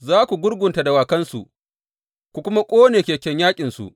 Za ku gurgunta dawakansu, ku kuma ƙone keken yaƙinsu.